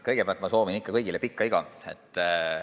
Kõigepealt soovin ma kõigile pikka iga!